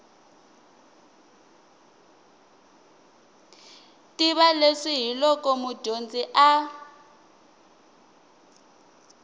tiva leswi hiloko mudyondzi a